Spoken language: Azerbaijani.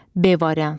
B variantı.